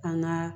An ka